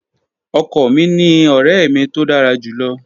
Ọkọ mi ni ọrẹ mi to dara julọ.